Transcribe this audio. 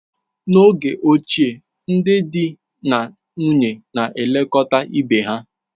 N'oge ochie, ndị di na nwunye na-elekọta ibe ha.